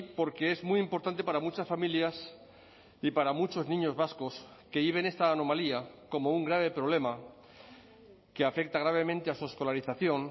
porque es muy importante para muchas familias y para muchos niños vascos que viven esta anomalía como un grave problema que afecta gravemente a su escolarización